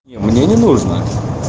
мне не нужна